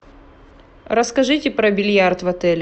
расскажите про бильярд в отеле